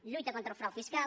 lluita contra el frau fiscal